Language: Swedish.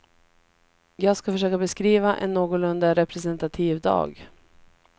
Jag skall försöka beskriva en någorlunda representativ dag.